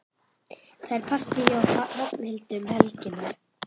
Það er partí hjá Hrafnhildi um helgina.